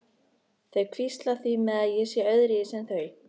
Þau hvísla því með að ég sé öðruvísi en þau.